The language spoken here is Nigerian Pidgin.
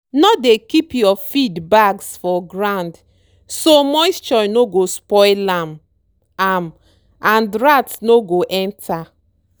no dey keep your feed bags for ground so moisture no go spoil am am and rats no go enter.